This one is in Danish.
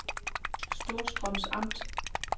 Storstrøms Amt